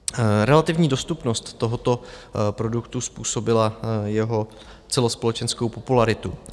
Relativní dostupnost tohoto produktu způsobila jeho celospolečenskou popularitu.